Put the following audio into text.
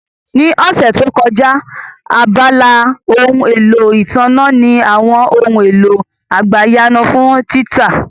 Ní ọ̀sẹ̀ tó kọjá, abala ohun èlò ìtànná ní àwọn ohun èlò àgbàyanu fún títà